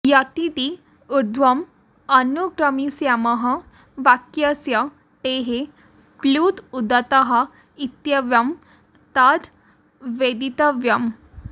यतिति ऊर्ध्वम् अनुक्रमिष्यामः वाक्यस्य टेः प्लुत उदत्तः इत्येवं तद् वेदितव्यम्